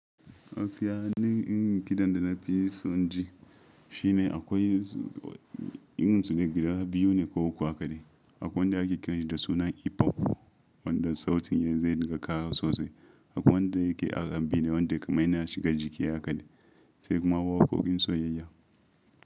Gaskiya ni inrin kidan da na fi son inji shine akwai irin sune guda biyu ne ko uku a kaɗe. Akwai wanda ake kiranshi da suna hipop, wanda sautin zai dinga kara sosai. Akwai wanda yake RNB wanda kaman yana shiga jiki a hakade sai kuma waƙoƙin soyayya.